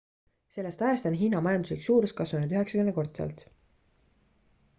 sellest ajast on hiina majanduslik suurus kasvanud 90-kordselt